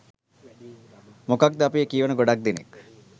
මොකද අපේ කියවන ගොඩක් දෙනෙක්